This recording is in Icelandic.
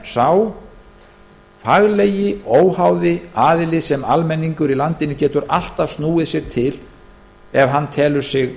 sem sá faglegi óháði aðili sem almenningur í landinu getur alltaf snúið sér til ef hann telur sig